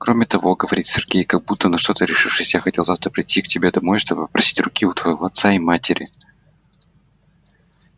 кроме того говорит сергей как будто на что-то решившись я хотел завтра прийти к тебе домой чтобы попросить руки у твоего отца и матери